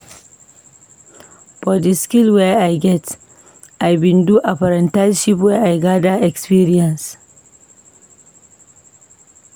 For di skill wey I get, I bin do apprenticeship where I gada experience.